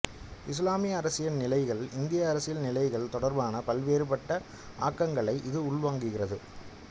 இசுலாமிய அரசியல் நிலைகள் இந்திய அரசியல் நிலைகள் தொடர்பான பல்வேறுபட்ட ஆக்கங்களை இது உள்வாங்கியிருந்தது